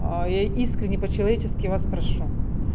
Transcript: а я искренне по-человечески вас прошу